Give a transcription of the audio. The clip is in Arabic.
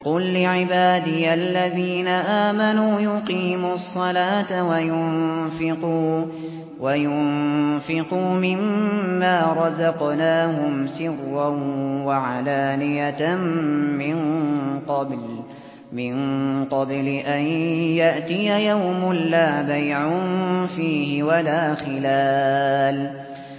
قُل لِّعِبَادِيَ الَّذِينَ آمَنُوا يُقِيمُوا الصَّلَاةَ وَيُنفِقُوا مِمَّا رَزَقْنَاهُمْ سِرًّا وَعَلَانِيَةً مِّن قَبْلِ أَن يَأْتِيَ يَوْمٌ لَّا بَيْعٌ فِيهِ وَلَا خِلَالٌ